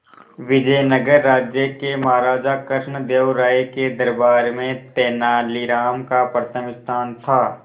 विजयनगर राज्य के महाराजा कृष्णदेव राय के दरबार में तेनालीराम का प्रथम स्थान था